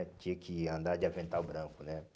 Tinha que andar de avental branco, né?